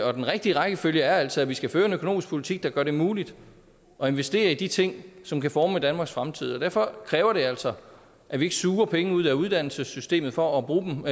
og den rigtige rækkefølge er altså at vi skal føre en økonomisk politik der gør det muligt at investere i de ting som kan forme danmarks fremtid derfor kræver det altså at vi ikke suger penge ud af uddannelsessystemet for at bruge dem